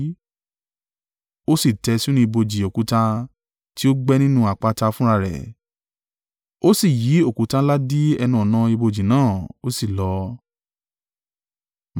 Ó sì tẹ́ ẹ sínú ibojì òkúta tí ó gbẹ́ nínú àpáta fúnra rẹ̀. Ó sì yí òkúta ńlá dí ẹnu-ọ̀nà ibojì náà, ó sì lọ.